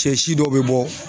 Cɛ si dɔw bɛ bɔ